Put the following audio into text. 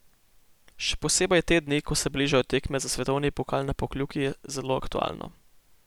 Še posebej te dni, ko se bližajo tekme za svetovni pokal na Pokljuki, je zelo aktualno.